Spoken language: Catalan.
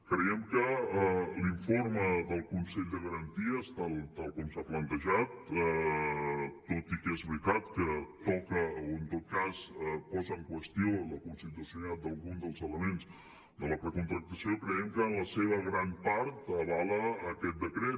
creiem que l’informe del consell de garanties tal com s’ha plantejat tot i que és veritat que toca o en tot cas posa en qüestió la constitucionalitat d’alguns dels elements de la precontractació creiem que en la seva gran part avala aquest decret